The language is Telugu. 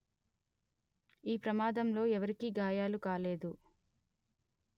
ఈ ప్రమాదంలో ఎవరికీ గాయాలు కాలేదు